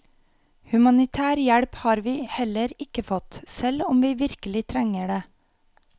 Humanitær hjelp har vi heller ikke fått, selv om vi virkelig trenger det.